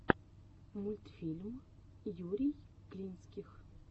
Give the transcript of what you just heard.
мультфильм юрий клинских